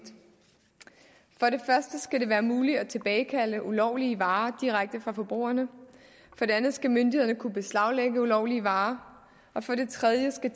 første skal det være muligt at tilbagekalde ulovlige varer direkte fra forbrugerne for det andet skal myndighederne kunne beslaglægge ulovlige varer for det tredje skal